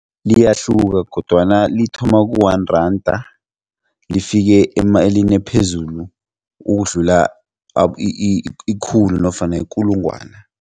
Liyahluka kodwana lithoma ku-one rand lifike emalini ephezulu ukudlula ikhulu nofana ikulungwana.